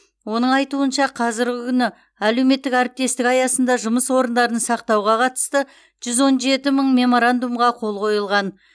оның айтуынша қазіргі күні әлеуметтік әріптестік аясында жұмыс орындарын сақтауға қатысты жүз он жеті мың меморандумға қол қойылған